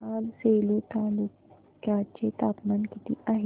आज सेलू तालुक्या चे तापमान किती आहे